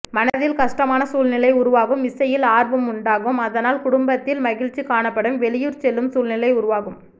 மனதில் கஷ்டமான சூழ்நிலை உருவாகும் இசையில் ஆர்வம் உண்டாகும் அதனால் குடும்பத்தில் மகிழ்ச்சி காணப்படும் வெளியூர் செல்லும் சூழ்நிலை உருவாகும்